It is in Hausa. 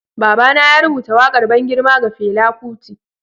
Baba na ya rubuta wakar ban girma ga Fela Kuti.